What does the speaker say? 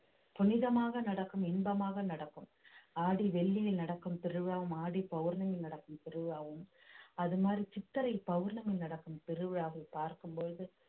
புனிதமாக நடக்கும் இன்பமாக நடக்கும் ஆடி வெள்ளியில் நடக்கும் திருவிழாவும் ஆடி பௌர்ணமியில் நடக்கும் திருவிழாவும் அது மாதிரி சித்திரை பௌர்ணமி நடக்கும் திருவிழாவை பார்க்கும் பொழுது